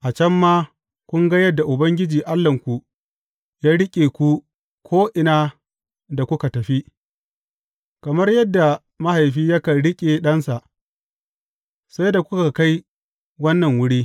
A can ma kun ga yadda Ubangiji Allahnku ya riƙe ku ko’ina da kuka tafi, kamar yadda mahaifi yakan riƙe ɗansa, sai da kuka kai wannan wuri.